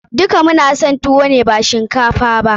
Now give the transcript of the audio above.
Duka mu na son tuwo ne ba shinkafa ba.